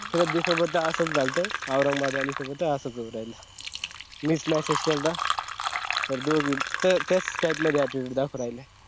श्राद्धी सोबत असाच झुलता औरंगबाद वालीच पण असाच होऊ राहील. मीच message केलता त्या दोघी तेच त्याच type मध्ये attitude दाखवू राहिल्या.